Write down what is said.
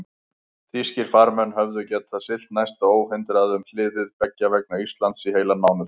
Þýskir farmenn höfðu getað siglt næsta óhindrað um hliðið beggja vegna Íslands í heilan mánuð.